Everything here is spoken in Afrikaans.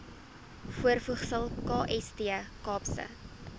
voorvoegsel kst kaapse